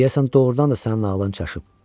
Deyəsən doğrudan da sənin ağlın çaşıb.